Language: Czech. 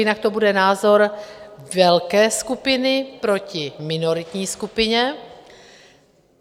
Jinak to bude názor velké skupiny proti minoritní skupině.